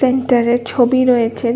Painter -এর ছবি রয়েছে।